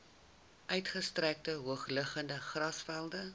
uitgestrekte hoogliggende grasvelde